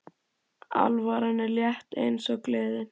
Alvaran er létt eins og gleðin.